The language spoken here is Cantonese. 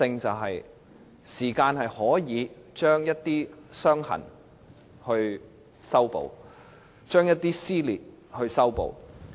時間可以把一些"傷痕"修補，把一些撕裂修補。